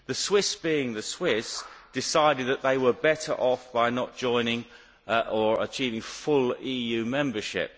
The Swiss being the Swiss decided that they were better off by not joining or achieving full EU membership.